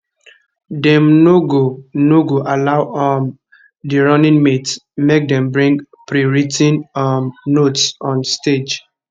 dem no go no go allow um di running mates make dem bring prewrit ten um notes on stage